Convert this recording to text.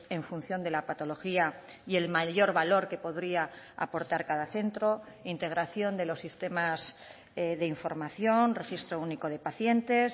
en función de la patología y el mayor valor que podría aportar cada centro integración de los sistemas de información registro único de pacientes